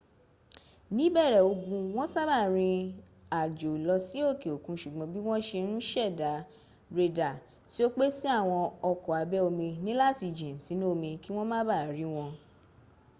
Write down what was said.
níbẹ̀rẹ̀ ogun wọn sábà rín àjò lọ sí òkè òkun ṣùgbọ́n bí wọn ṣe n ṣẹ̀dá rédà tí ó pé si àwọn ọkọ̀ abẹ́ omi níláti jìn sínú omí kí wọ́n ma baà rí wọn